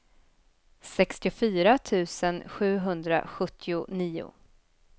sextiofyra tusen sjuhundrasjuttionio